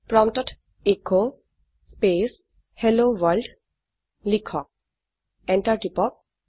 প্ৰম্পটত এচ স্পেচ হেল্ল ৱৰ্ল্ড লিখক এন্টাৰ টিপক